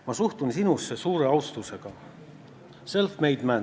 Ma suhtun ka sinusse suure austusega, sa oled self-made man.